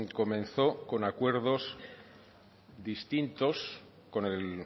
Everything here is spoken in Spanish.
comenzó con acuerdos distintos con el